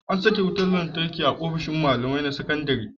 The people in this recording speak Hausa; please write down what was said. An saka wutar lantarki a ofishin malamai na wata sakandare.